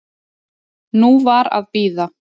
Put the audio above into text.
Nú var að bíða.